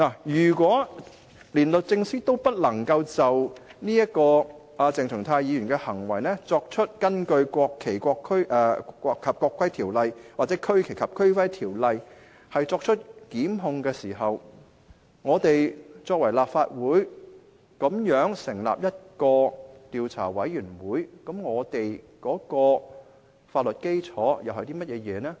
如果連律政司也不能夠就鄭松泰議員的行為根據《國旗及國徽條例》或《區旗及區徽條例》作出檢控，立法會反而成立調查委員會，試問我們的法律基礎為何？